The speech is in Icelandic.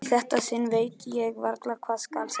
Í þetta sinn veit ég varla hvað skal segja.